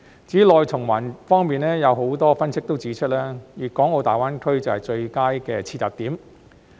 至於內循環方面，有很多分析指出，粤港澳大灣區正是最佳的切入點。